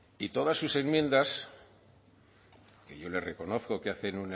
y todas sus enmiendas que yo le reconozco que hacen